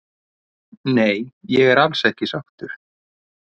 Nei ég er alls ekki sáttur